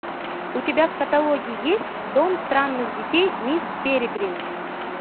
у тебя в каталоге есть дом странных детей мисс перегрин